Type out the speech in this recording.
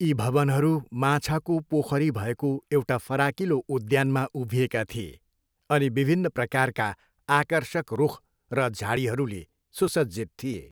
यी भवनहरू माछाको पोखरीले भएको एउटा फराकिलो उद्यानमा उभिएका थिए अनि विभिन्न प्रकारका आकर्षक रुख र झाडीहरूले सुसज्जित थिए।